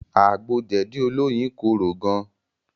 Àgbo jẹ̀dí olóyin korò gan